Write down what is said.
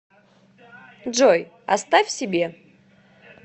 джой оставь себе